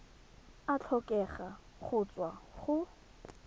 a tlhokega go tswa go